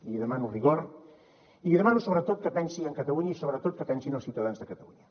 li demano rigor i li demano sobretot que pensi en catalunya i sobretot que pensi en els ciutadans de catalunya